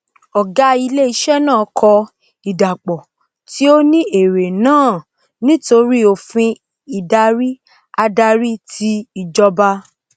ògá ilé isé naà kọ ìdàpò tí ó ní èrè náà nítorí òfin ìdarí ààrí ti ìjọba